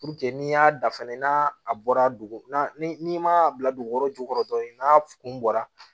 n'i y'a da fɛnɛ n'a bɔra dugu n'i ma bila dugu kɔrɔ jukɔrɔ dɔrɔn n'a kun bɔra